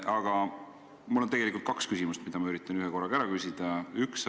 Aga mul on kaks küsimust, mis ma üritan ühekorraga ära küsida.